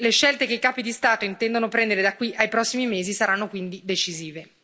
Ecco, le scelte che i capi di Stato intendono prendere da qui ai prossimi mesi saranno quindi decisive.